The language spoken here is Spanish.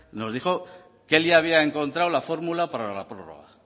nos dijo que él ya había encontrado la fórmula para la prórroga